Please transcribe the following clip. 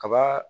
Kaba